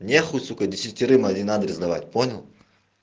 нехуй сука десятерым один адрес давать понял